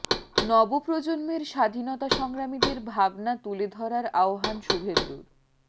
নব প্রজন্মের স্বাধীনতা সংগ্রামীদের ভাবনা তুলে ধরার আহ্বান শুভেন্দুর